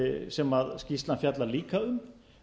sem skýrslan fjallar líka um